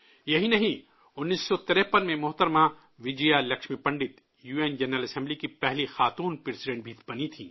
یہی نہیں، 1953 میں محترمہ Vijaya Lakshmi Pandit, U N general assembly کی پہلی خاتون پریزیڈنٹ بھی بنی تھیں